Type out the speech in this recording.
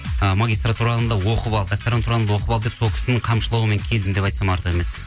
ы магистратураны да оқып ал докторантураңды оқып ал деп сол кісінің қамшылауымен келдім деп айтсам артық емес